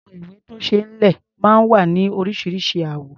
Àwọn ìwé-tó-ṣeé-lẹ̀ máa ń wá ní oríṣiríṣi àwọ̀.